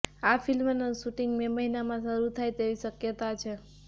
આ ફિલ્મનું shooting May મહિનામાં શરૂ થાય તેવી શક્યતા છે